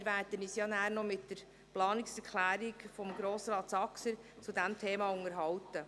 Wir werden uns nachher noch über die Planungserklärung von Grossrat Saxer zu diesem Thema unterhalten.